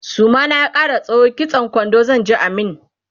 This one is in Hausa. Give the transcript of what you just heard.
suma na ya Kara tsawo kitsan kwando zanje a min